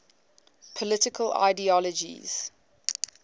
political ideologies